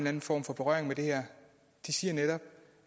anden form for berøring med det her siger netop